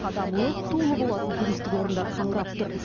адам лық толы болатын туристік орындар қаңырап тұр